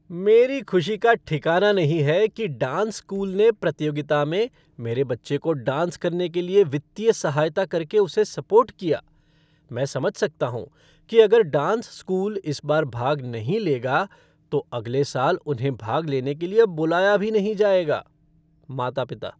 मेरी खुशी का ठिकाना नहीं है कि डांस स्कूल ने प्रतियोगिता में मेरे बच्चे को डांस करने के लिए वित्तीय सहायता करके उसे सपोर्ट किया, मैं समझ सकता हूँ कि अगर डांस स्कूल इस बार भाग नहीं लेगा तो अगले साल उन्हें भाग लेने के लिए बुलाया भी नहीं जाएगा। माता पिता